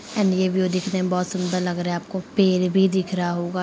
and ये view दिखने में बहोत सुंदर लग रहा है आपको पेर भी दिख रहा होगा